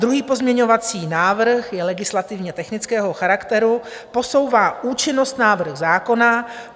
Druhý pozměňovací návrh je legislativně technického charakteru, posouvá účinnost návrhu zákona.